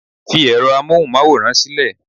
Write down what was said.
fi ẹrọ amohunmaworan sílẹ